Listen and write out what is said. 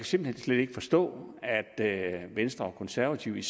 simpelt hen ikke forstå at venstre og konservative